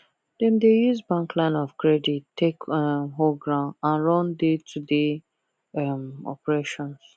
dem dey use bank line of credit take um hold ground and run daytoday um operations